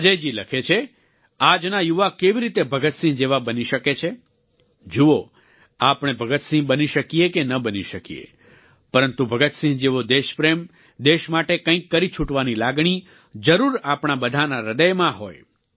અજયજી લખે છે આજના યુવા કેવી રીતે ભગતસિંહ જેવા બની શકે છે જુઓ આપણે ભગતસિંહ બની શકીએ કે ન બની શકીએ પરંતુ ભગતસિંહ જેવો દેશપ્રેમ દેશ માટે કંઈક કરી છૂટવાની લાગણી જરૂર આપણા બધાનાં હ્રદયમાં હોય